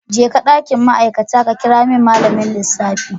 Jeka dakin ma'aikata ka kira min malamin lissafi.